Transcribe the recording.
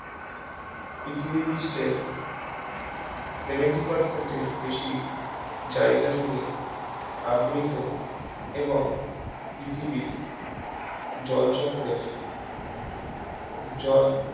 পৃথিবী পৃষ্ঠের seventy percent এর বেশি জায়গা জুড়ে আবৃত এবং পৃথিবীর জলচক্রের জল